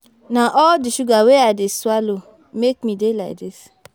Na all the sugar wey I dey swallow make me dey like dis